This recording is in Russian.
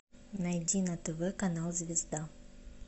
найди на тв канал звезда